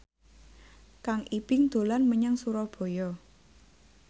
Kang Ibing dolan menyang Surabaya